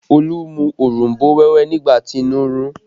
Olu mu òronbó wẹ́wẹ́ nígbà tí inú ń run ún